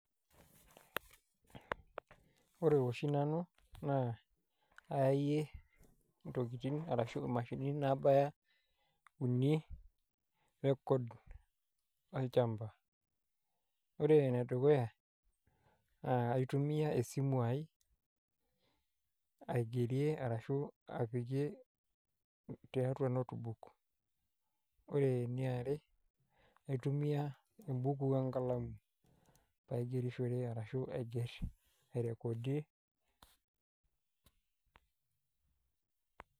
Ore oshi nanu naa kayayie ntokitin arashu imashinini nabaya uni record olchamba ore enedukuya nakaitumia esimu aai aigerie ashu aibungie tiatu notebook naitumia embuku enkalamu paigerishore ashu ai recodie